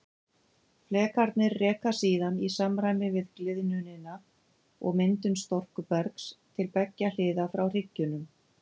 Flekarnir reka síðan í samræmi við gliðnunina og myndun storkubergs til beggja hliða frá hryggjunum.